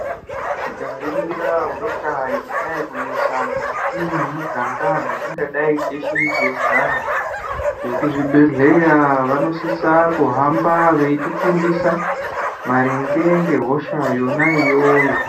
Tikaringira hosha dzadayi kunesa mukati mwemiganga, dzatingadayi teshe teigara. Vekuzvibhedhleya vanosise kuhamba veitifundisa maringe ngehosha yona iyoyo.